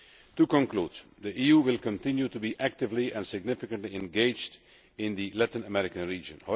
To conclude, the EU will continue to be actively and significantly engaged in the Latin American region.